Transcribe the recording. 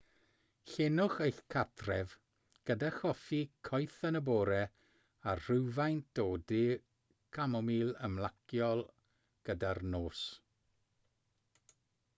llenwch eich cartref gyda choffi coeth yn y bore a rhywfaint o de camomil ymlaciol gyda'r nos